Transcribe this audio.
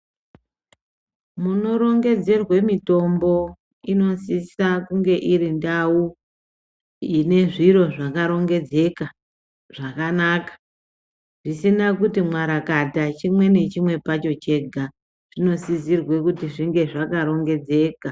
Munorongedzerwe mitombo inosisa kunge iri ndau ine zviro zvakarongedzeka zvakanaka zvisina kuti mwarakata chimwe nechimwe pacho chega zvinosizirwe kuti zvinge zvakarongedzeka.